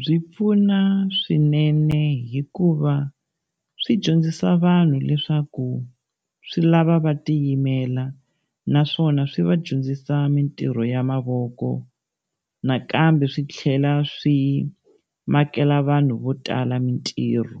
Byi pfuna swinene, hikuva swi dyondzisa vanhu leswaku swi lava va tiyimela naswona swi va dyondzisa mintirho ya mavoko. Nakambe swi tlhela swi makela vanhu vo tala mitirho.